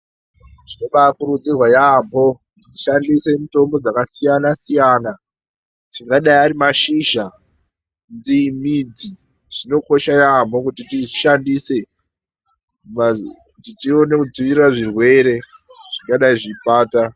Zvinobakurudzirwa yambo kushandisa mitombo dzakasiyana siyana dzingadai Ari mashizha midzi dzinokosha yambo kuti tishandise tione kudzivirira zvirwere zvingadai zvichibata.